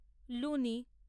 Luni